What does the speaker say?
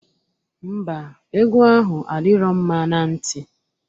Ḿbà, egwu ahụ adirọ mma na nti.